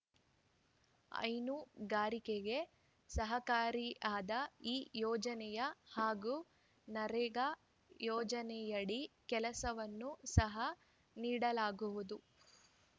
ಹೈನುಗಾರಿಕೆಗೆ ಸಹಕಾರಿಯಾದ ಈ ಯೋಜನೆ ಹಾಗೂ ನರೇಗಾ ಯೋಜನೆಯಡಿ ಕೆಲಸವನ್ನು ಸಹ ನೀಡಲಾಗುವುದು